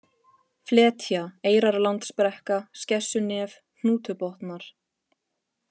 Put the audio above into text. Fletja, Eyrarlandsbrekka, Skessunef, Hnútubotnar